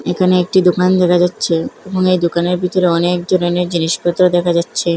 এখানে একটি দোকান দেখা যাচ্ছে মনে হয় দোকানের ভিতরে অনেক ধরনের জিনিসপত্র দেখা যাচ্ছে।